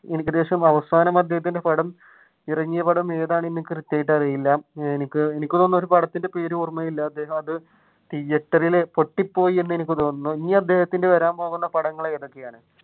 ഏകദേശം അവസാനം അദ്ദേഹത്തിന്റെ പടം ഏതാണെന്നു എനിക്ക് കൃത്യമായിട്ട് അറിയില്ല എനിക്ക് തോന്നുന്നു പടത്തിന്റെ പേര് ഓർമയില്ല അദ്ദേഹം അത് തിയേറ്ററിൽ പൊട്ടി പോയി എന്ന് എനിക്ക് തോന്നുന്നു ഇനി അദ്ദേഹത്തിന്റെ വരാൻ പോകുന്ന പടങ്ങൾ ഏതൊക്കെയാണ്?